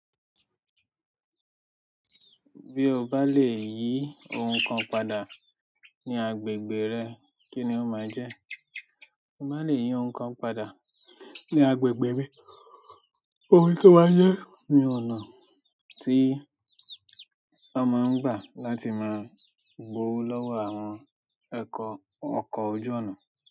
Bí o bá lè yí ohun kan padà ní agbègbè rẹ, kí ni ó máa jẹ́? Tí mo bá lè yìí ohun kan padà ní agbègbè mi, ohun tó máa jẹ́ ni ọ̀nà tí a máa ń gbà láti gbowó lọ́wọ́ àwọn ẹkọ ọkọ̀ ojú ọnà.